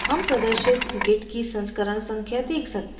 हम प्रदर्शित git की संस्करण संख्या देख सकते हैं